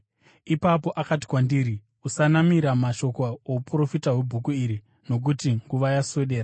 Ipapo akati kwandiri, “Usanamira mashoko ouprofita hwebhuku iri, nokuti nguva yaswedera.